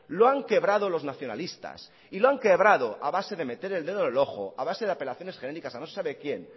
lo han quebrado los nacionalistas y lo han quebrado a base de meter el dedo en el ojo a base de apelaciones genéricas a no se sabe quién